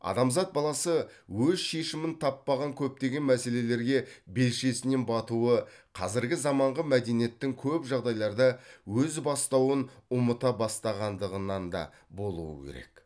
адамзат баласы өз шешімін таппаған көптеген мәселелерге белшесінен батуы қазіргі заманғы мәдениеттің көп жағдайларда өз бастауын ұмыта бастағандығынан да болуы керек